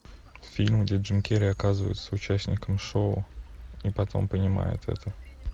фильм где джим керри оказывается участником шоу и потом понимает это